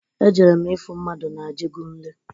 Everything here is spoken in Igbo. Ejere m ifu mmadụ na-ajegunle.